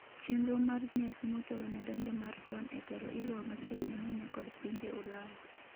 chenro mag nyasi motelo ne donjo mar Don e telo iluwo machiegni ahinya kod pinje Ulaya